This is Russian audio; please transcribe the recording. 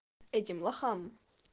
этим лохам